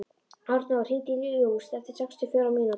Arnór, hringdu í Júst eftir sextíu og fjórar mínútur.